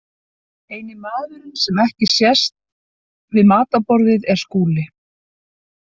Eini maðurinn sem ekki sést við matarborðið er Skúli.